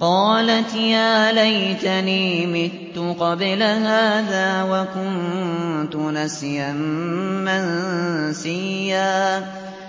قَالَتْ يَا لَيْتَنِي مِتُّ قَبْلَ هَٰذَا وَكُنتُ نَسْيًا مَّنسِيًّا